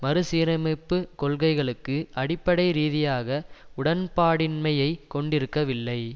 மறுசீரமைப்புக் கொள்கைகளுக்கு அடிப்படை ரீதியாக உடன்பாடின்மையைக் கொண்டிருக்கவில்லை